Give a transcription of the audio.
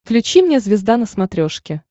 включи мне звезда на смотрешке